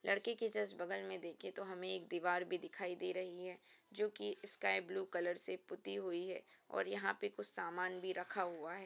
लड़के के जस्ट बगल में देखें तो हमें एक दीवार भी दिखाई दे रही है जोकि स्काई ब्लू कलर से पुती हुई है और यहाँ पर कुछ सामान भी रखा हुआ है।